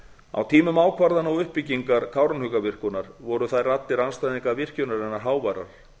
á tímum ákvarðana og uppbyggingar kárahnjúkavirkjunar voru þær raddir andstæðinga virkjunarinnar háværar